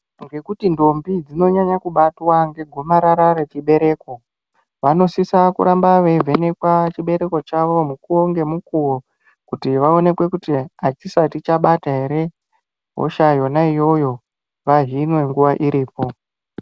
Ngekuti ndombi dzinonyanya kubatwa negomarara rechibereko vanosisa kuramba veivhenekwa chibereko chavo mukuwo nemukuwo kuti vaoneke kt activation chabata here hosha iyonaiyoyo vahinwe nguva iripo .